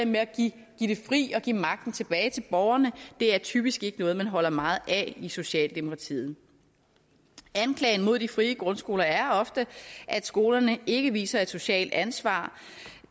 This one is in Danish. med at give det fri og give magten tilbage til borgerne er typisk ikke noget man holder meget af i socialdemokratiet anklagen mod de frie grundskoler er ofte at skolerne ikke viser et socialt ansvar